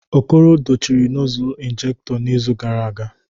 Okoro dochie nozzle injekto n'izu gara aga